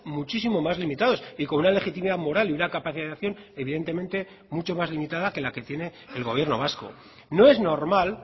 muchísimo más limitados y con una legitimidad moral y una capacitación evidentemente mucho más limitada que la que tiene el gobierno vasco no es normal